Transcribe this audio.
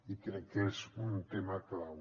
i crec que és un tema clau